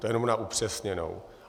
To jenom na upřesněnou.